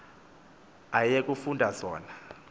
aye kufunda zona